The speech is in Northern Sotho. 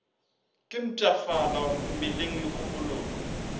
ke mpshafala mmeleng le kgopolong